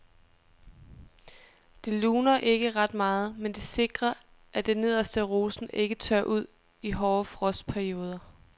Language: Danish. Det luner ikke ret meget, men det sikrer at det nederste af rosen ikke tørrer ud i hårde frostperioder.